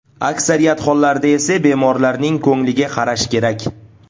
Aksariyat hollarda esa bemorlaning ko‘ngliga qarash kerak.